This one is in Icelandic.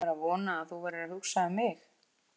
Ég var að vona að þú værir að hugsa um mig!